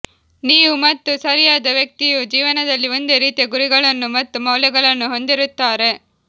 ನೀವು ಮತ್ತು ಸರಿಯಾದ ವ್ಯಕ್ತಿಯು ಜೀವನದಲ್ಲಿ ಒಂದೇ ರೀತಿಯ ಗುರಿಗಳನ್ನು ಮತ್ತು ಮೌಲ್ಯಗಳನ್ನು ಹೊಂದಿರುತ್ತಾರೆ